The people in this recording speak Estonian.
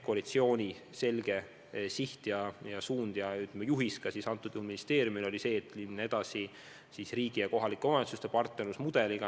Koalitsiooni selge siht ja suund või, ütleme, juhis ministeeriumile oli see, et läheme edasi riigi ja kohalike omavalitsuste partnerluse mudeliga.